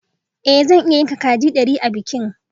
Ée zan iya yanka kaji dari a bikin